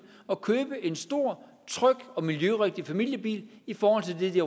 at købe en stor tryg og miljørigtig familiebil i forhold til det de